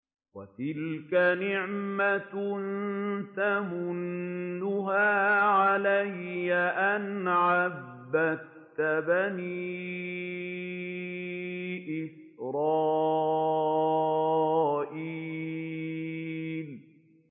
وَتِلْكَ نِعْمَةٌ تَمُنُّهَا عَلَيَّ أَنْ عَبَّدتَّ بَنِي إِسْرَائِيلَ